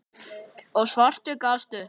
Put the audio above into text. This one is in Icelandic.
og svartur gafst upp.